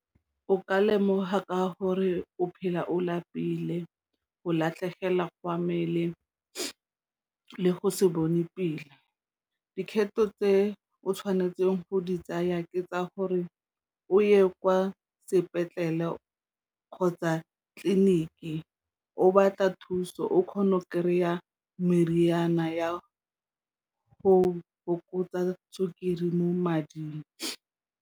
O ka lemoga ka gore o phela o lapile o latlhegelwa go a mmele le go se bone pela dikgetho tse o tshwanetseng go di tsaya ke tsa gore o ye kwa sepetlele kgotsa tleliniki o batla thuso o kgona go kry-a meriana ya go fokotsa sukiri mo mading.